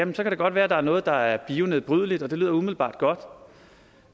det godt være at der er noget af det der er bionedbrydeligt og det lyder umiddelbart godt